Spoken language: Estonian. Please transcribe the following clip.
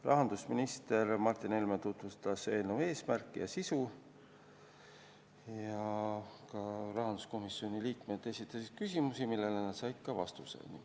Rahandusminister Martin Helme tutvustas eelnõu eesmärki ja sisu ning rahanduskomisjoni liikmed esitasid küsimusi, millele nad said ka vastuseid.